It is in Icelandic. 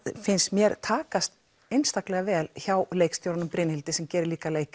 finnst mér takast einstaklega vel hjá leikstjóranum Brynhildi sem gerir líka